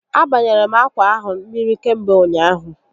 A banyere m akwa ahụ mmiri kamgbe ụnyaahụ